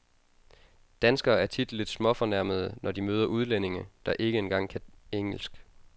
Danskere er tit lidt småfornærmede, når de møder udlændinge, der ikke engang kan engelsk.